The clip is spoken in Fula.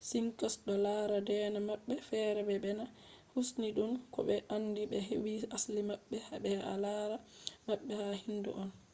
sikhs do lara deena mabbe fere be deena hinduism ko be be andi be hedi asli mabbe be al’ada mabbe ha hindu on